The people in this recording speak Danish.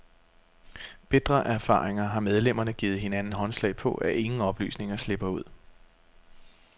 Bitre af erfaringer har medlemmerne givet hinanden håndslag på, at ingen oplysninger slipper ud.